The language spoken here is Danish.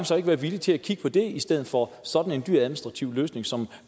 så ikke være villige til at kigge på det i stedet for sådan en dyr administrativ løsning som